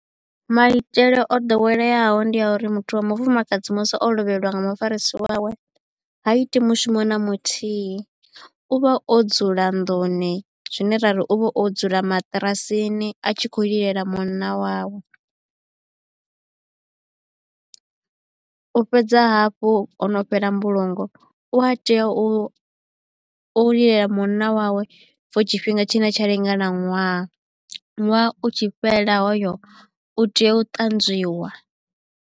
Maitele o ḓoweleaho ndi a uri muthu wa mufumakadzi musi o lovheliwa nga mufarisi wawe ha iti mushumo na muthihi u vha o dzula nḓuni zwine rari uvha o dzula maṱirasini a tshi khou lilela munna wawe. U fhedza hafhu ho no fhela mbulungo u a tea u u lilela munna wawe for tshifhinga tshine tsha lingana ṅwaha ṅwaha u tshi fhela hoyo u tea u tanzwiwa